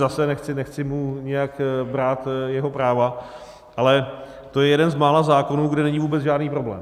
Zase, nechci mu nijak brát jeho práva, ale to je jeden z mála zákonů, kde není vůbec žádný problém.